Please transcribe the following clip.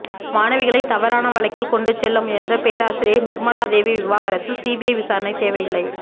மாணவிகளை தவறான வழிக்கு கொண்டு செல்ல முயன்ற பேராசிரியை நிர்மலா தேவி விவகாரத்தில் சிபிஐ விசாரணை தேவையில்லை